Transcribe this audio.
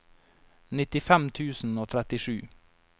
nittifem tusen og trettisju